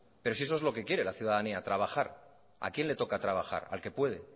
pero si eso es lo que quiere la ciudadanía trabajar a quién le toca trabajar al que puede